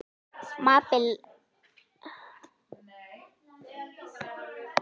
Mábil, lækkaðu í hátalaranum.